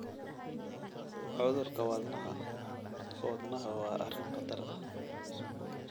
Cudurka wadnaha (wadnaha) waa arrin khatar ah.